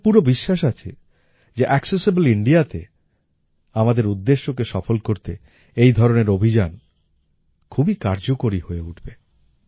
আমার পুরো বিশ্বাস আছে যে অ্যাকসেসিবল Indiaতে আমাদের উদ্দেশ্যকে সফল করতে এই ধরনের অভিযান খুবই কার্যকরী হয়ে উঠবে